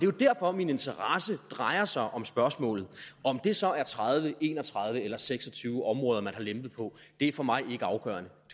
jo derfor min interesse drejer sig om spørgsmålet om det så er tredive en og tredive eller seks og tyve områder man har lempet på er for mig ikke afgørende